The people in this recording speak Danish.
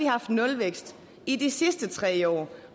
haft nulvækst i de sidste tre år